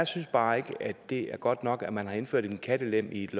synes bare ikke at det er godt nok at man har indført en kattelem i et